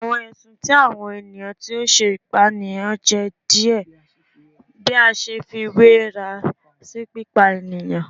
Awọn ẹsun ti awọn eniyan ti o ṣe ipaniyan jẹ diẹ bi a ṣe fiwera si pipa eniyan